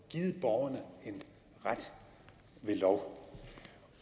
givet borgerne en ret ved lov